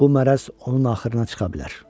Bu mərəz onun axırına çıxa bilər.